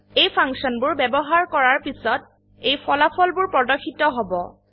এই ফাংশনবোৰ ব্যবহাৰ কৰাৰ পিছত এই ফলাফলবোৰ প্ৰদৰ্শিত হব